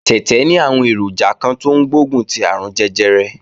Tẹ̀tẹ̀ ní àwọn èròjà kan tó ń gbógun ti àrùn jẹjẹrẹ